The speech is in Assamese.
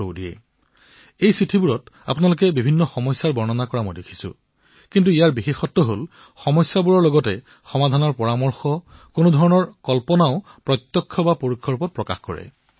মই দেখিছো যে চিঠিসমূহত জনতাই সমস্যাৰ বৰ্ণনা কৰাৰ লগতে তাৰ সমাধানো প্ৰস্তাৱনাও প্ৰদান কৰে